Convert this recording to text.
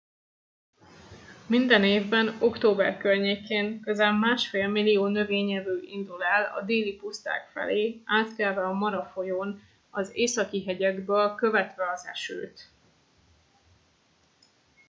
minden évben október környékén közel másfél millió növényevő indul el a déli puszták felé átkelve a mara folyón az északi hegyekből követve az esőt